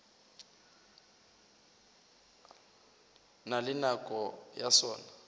na le nako ya sona